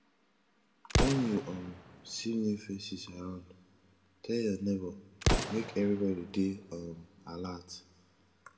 wen you um see new faces around tell your neighbor make everybody dey um alert